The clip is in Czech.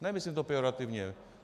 Nemyslím to pejorativně.